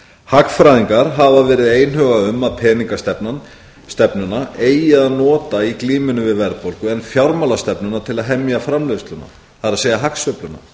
hagfræðingar hafa verið einhuga um að peningastefnuna eigi að nota í glímunni við verðbólgu en fjármálastefnuna til að hemja framleiðsluna það er hagsveifluna